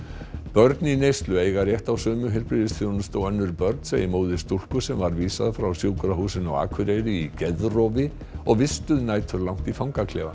börn í neyslu eiga rétt á sömu heilbrigðisþjónustu og önnur börn segir móðir stúlku sem var vísað frá Sjúkrahúsinu á Akureyri í geðrofi og vistuð næturlangt í fangaklefa